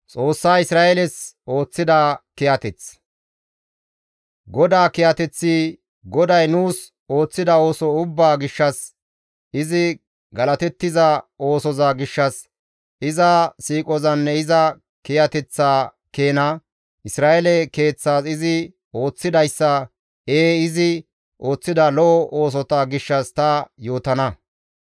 GODAA kiyateththi, GODAY nuus ooththida ooso ubbaa gishshas, izi galatettiza oosoza gishshas, iza siiqozanne iza kiyateththa keena, Isra7eele keeththas izi ooththidayssa, ee izi ooththida lo7o oosota gishshas ta yootana.